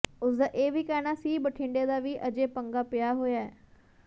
ਉਸਦਾ ਇਹ ਵੀ ਕਹਿਣਾ ਸੀ ਬਠਿੰਡੇ ਦਾ ਵੀ ਅਜੇ ਪੰਗਾ ਪਿਆ ਹੋਇਆ ਹੈ